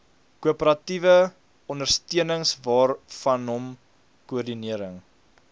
korporatiewe ondersteuningwaarvanom koördinering